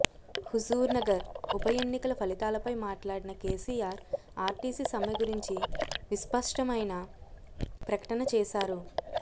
హుజూర్నగర్ ఉప ఎన్నికల ఫలితాలపై మాట్లాడిన కేసీఆర్ ఆర్టీసీ సమ్మె గురించి విస్పష్టమైన ప్రకటన చేశారు